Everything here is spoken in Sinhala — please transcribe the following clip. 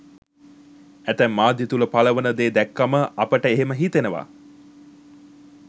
ඇතැම් මාධ්‍ය තුළ පළවන දේ දැක්කම අපට එහෙම හිතෙනවා.